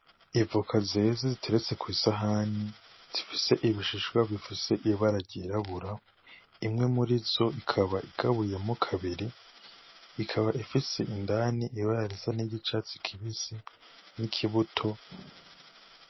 Ivoka zeze ziteretse kw'isahani, zifise ibishishwa bifise ibara ryirabura, imwe mur'izo ikaba igabuyemwo kabiri, ikaba ifise indani ibara risa n'iryicatsi kibisi, n'ikibuto.